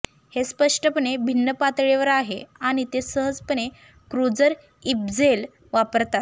हे स्पष्टपणे भिन्न पातळीवर आहे आणि ते सहजपणे क्रूझर इप्झेल वापरतात